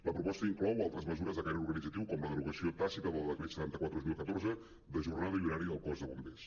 la pro·posta inclou altres mesures de caire organitzatiu com la derogació tàcita del decret setanta quatre dos mil catorze de jornada i horari del cos de bombers